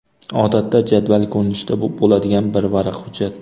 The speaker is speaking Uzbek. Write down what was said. Odatda jadval ko‘rinishida bo‘ladigan bir varaq hujjat.